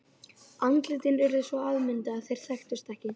Andlitin urðu svo afmynduð að þeir þekktust ekki.